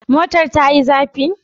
Motar ta yi zafi?